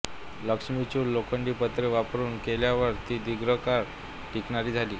लक्ष्मी चूल लोखंडी पत्रे वापरून केल्यावर ती दीर्घ काळ टिकणारी झाली